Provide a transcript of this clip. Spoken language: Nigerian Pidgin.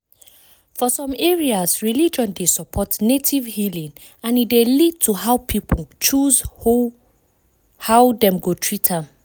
for some areas religion dey support native healing and e dey lead to how people choose hoe dem go treat am.